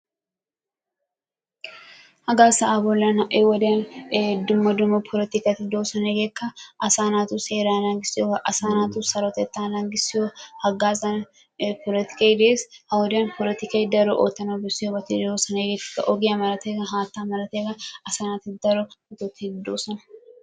Hagaa sa'aa bolan ha'i woddiyan ee dumma dumma polotikkati de'oosona. Hegeekka asaa naatu seeraa naagissiyoogaa. Asaa naatu sarotettaa naagissiyo hagaazan ee polotikkay dee's, ha woddiyan plotikkay daro oottanawu bessiyoobati de'oosona. Hegeettikka ogiya malatiyaaga haattaa malatiyaaga asaa naati daro metotti doosona.